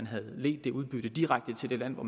havde ledt det udbytte direkte til det land hvor